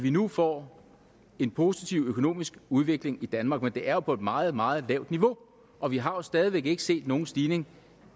vi nu får en positiv økonomisk udvikling i danmark men det er jo på et meget meget lavt niveau og vi har stadig væk ikke set nogen stigning